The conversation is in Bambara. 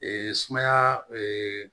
sumaya